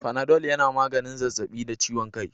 Fanadol yana maganin zazzabi da ciwon kai